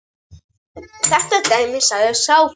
Þetta dæmir sig sjálft.